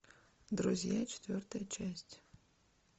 друзья четвертая часть